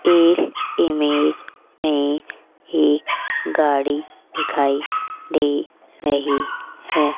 इस इमेज में एक गाड़ी दिखाई दे रही है।